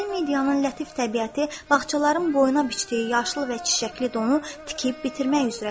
Şimali Midiyanın lətif təbiəti bağçaların boyuna biçdiyi yaşıl və çiçəkli donu tikib bitirmək üzrə idi.